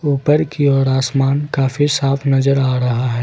ऊपर की ओर आसमान कफी साफ नजर आ रहा है।